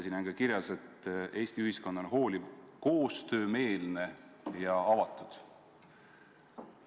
Siin on ka kirjas, et Eesti ühiskond on hooliv, koostöömeelne ja avatud.